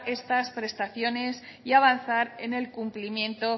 prestaciones y avanzar en el cumplimiento